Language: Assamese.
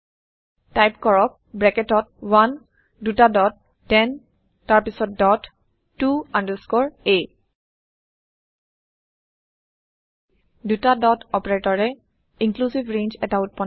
টাইপ কৰক ব্ৰেকেটত 1 দুটা ডট 10 তাৰপিছত ডট ত আণ্ডাৰস্কৰে a ত্ব ডট অপাৰেটৰে ইনক্লুচিভ ৰেঞ্জ এটা উত্পন্ন কৰে